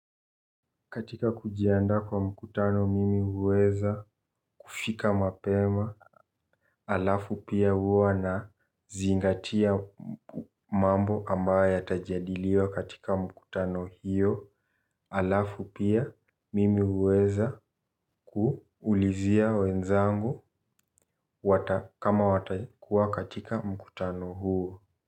Katika kujiandaa kwa mkutano mimi huweza kufika mapema alafu pia huwa nazingatia mambo ambayo yatajadiliwa katika mkutano hiyo alafu pia mimi huweza kuulizia wenzangu. Kama watakuwa katika mkutano huo.